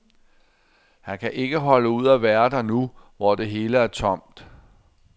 Han kan ikke holde ud at være der nu, hvor det hele er tomt.